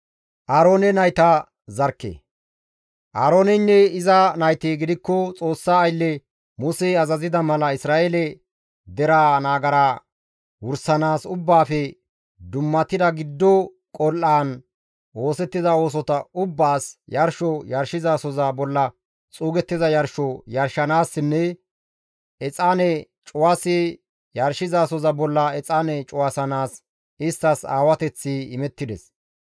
Aarooneynne iza nayti gidikko Xoossa aylle Musey azazida mala Isra7eele deraa nagara wursanaas ubbaafe dummatida giddo qol7aan oosettiza oosota ubbaas, yarsho yarshizasoza bolla xuugettiza yarsho yarshanaassinne Exaane cuwasi yarshizasoza bolla exaane cuwasanaas isttas aawateththi imettides.